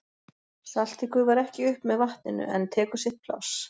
Saltið gufar ekki upp með vatninu en tekur sitt pláss.